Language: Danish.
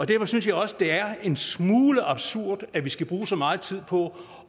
derfor synes jeg også det er en smule absurd at vi skal bruge så meget tid på